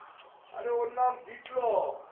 আরে ওর নাম বিপ্লব